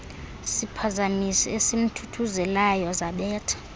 siphazamisi esimthuthuzelayo zabetha